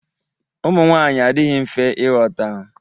Ụmụnwanyị adịghị mfe ịghọta.